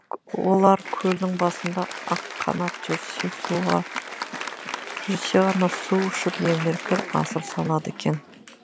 олар көлдің басында аққанат жүрсе ғана су ішіп емін еркін асыр салады екен